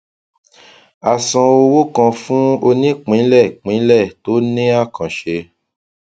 a san owó kan fún onípínlẹìpínlẹ tó ní àkànṣe